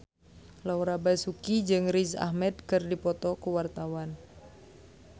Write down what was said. Laura Basuki jeung Riz Ahmed keur dipoto ku wartawan